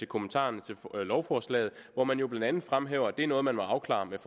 kommentarerne til lovforslaget hvor man jo blandt andet fremhæver at det er noget man må afklare med